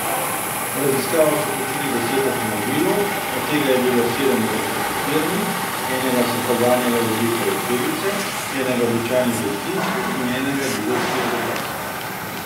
V raziskavo so vključili deset avtomobilov, od tega je bilo sedem elektrificiranih, enega so poganjale vodikove celice, enega običajni bencinski in enega dizelski agregat.